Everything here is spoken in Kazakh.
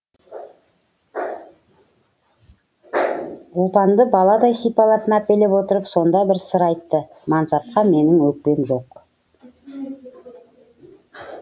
ұлпанды баладай сипалап мәпелеп отырып сонда бір сыр айтты мансапқа менің өкпем жоқ